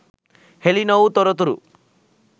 හෙළි නොවූ තොරතුරු